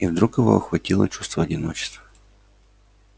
и вдруг его охватило чувство одиночества